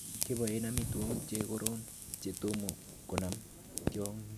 Kebaen amitwogik che koron che tom konam tiongik.